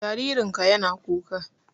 Jaririn ka ya na kuka